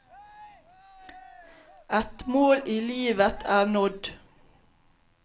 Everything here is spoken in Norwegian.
Et mål i livet er nådd.